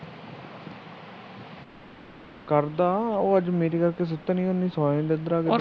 ਕਰਦਾ